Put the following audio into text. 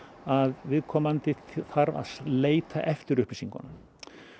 að viðkomandi þarf að leita eftir upplýsingunum